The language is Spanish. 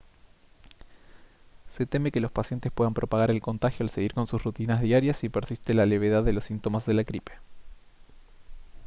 se teme que los pacientes puedan propagar el contagio al seguir con sus rutinas diarias si persiste la levedad de los síntomas de la gripe